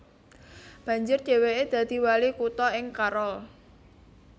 Banjur dhèwèké dadi wali kutha ing Carroll